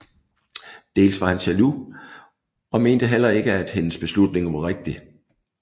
Dels var han jaloux og mente heller ikke at hendes beslutning var rigtig